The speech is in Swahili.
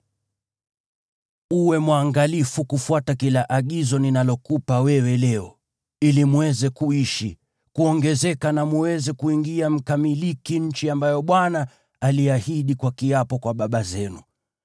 Uwe mwangalifu kufuata kila agizo ninalokupa wewe leo, ili mweze kuishi, kuongezeka na mweze kuingia mkamiliki nchi ambayo Bwana aliahidi kwa kiapo kwa baba zenu.